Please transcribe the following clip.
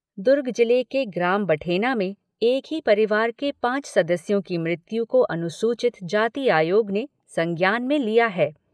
दुर्ग जिले के ग्राम बठेना में एक ही परिवार के पांच सदस्यों की मृत्यु को अनुसूचित जाति आयोग ने संज्ञान में लिया है।